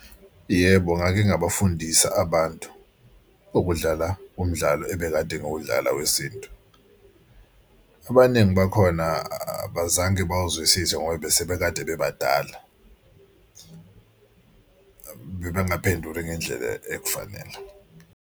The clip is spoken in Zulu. Yebo, ngake ngabafundisa abantu ukudlala umdlalo ebekade ngudlala wesintu. Abaningi bakhona abazange bawuzwisise ngoba bese bekade bebadala bebengaphenduli ngendlela ekufanele.